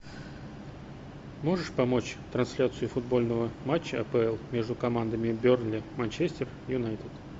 можешь помочь трансляцию футбольного матча апл между командами берли манчестер юнайтед